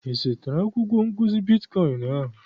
Ị zụtara akwụkwọ nkụzi bitkọịn ahụ?